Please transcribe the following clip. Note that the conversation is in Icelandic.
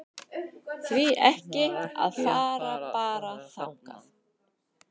Því ekki að fara bara þangað?